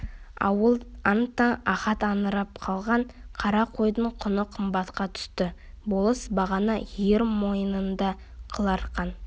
ауыл аң-таң ахат аңырып қалған қара қойдың құны қымбатқа түсті болыс бағана ер мойнында қыл арқан